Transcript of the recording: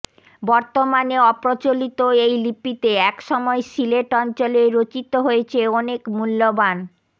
বর্তমানে অপ্রচলিত এই লিপিতে একসময় সিলেট অঞ্চলে রচিত হয়েছে অনেক মূল্যবান